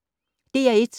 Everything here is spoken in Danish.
DR1